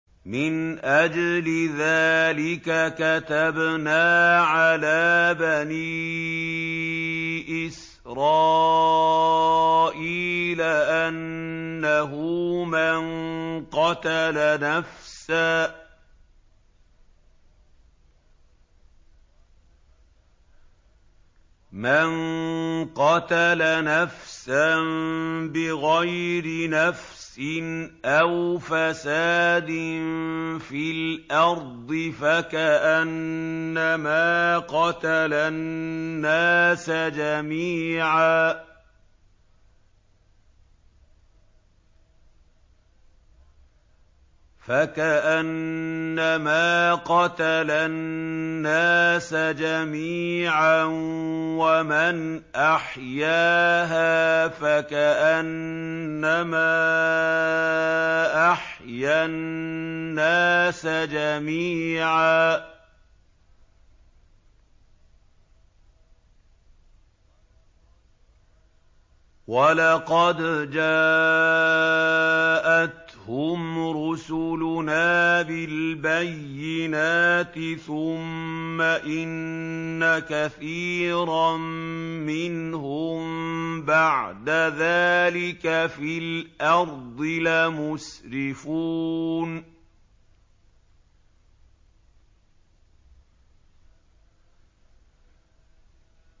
مِنْ أَجْلِ ذَٰلِكَ كَتَبْنَا عَلَىٰ بَنِي إِسْرَائِيلَ أَنَّهُ مَن قَتَلَ نَفْسًا بِغَيْرِ نَفْسٍ أَوْ فَسَادٍ فِي الْأَرْضِ فَكَأَنَّمَا قَتَلَ النَّاسَ جَمِيعًا وَمَنْ أَحْيَاهَا فَكَأَنَّمَا أَحْيَا النَّاسَ جَمِيعًا ۚ وَلَقَدْ جَاءَتْهُمْ رُسُلُنَا بِالْبَيِّنَاتِ ثُمَّ إِنَّ كَثِيرًا مِّنْهُم بَعْدَ ذَٰلِكَ فِي الْأَرْضِ لَمُسْرِفُونَ